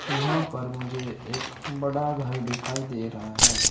यहां पर मुझे एक बड़ा घर दिखाई दे रहा है।